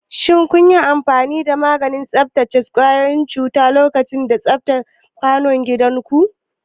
Shin kun yi amfani da maganin kashe kwayoyin cuta lokacin tsaftace kwanon bayan gida?